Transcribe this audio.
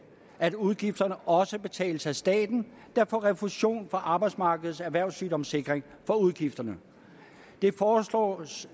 at udgifterne også betales af staten der får refusion fra arbejdsmarkedets erhvervssygdomssikring for udgifterne det foreslås